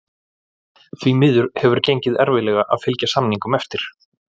Því miður hefur gengið erfiðlega að fylgja samningum eftir.